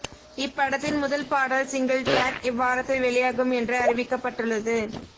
இப்படத்தின் முதல் பாடல் சிங்கிள் டராக் இவ்வாரத்தில் வெளியாகும் என்று அறிவிக்கப்பட்டுள்ளது